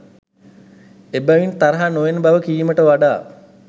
එබැවින් තරහ නොයන බව කීමට වඩා